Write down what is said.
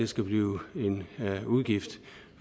skal blive en udgift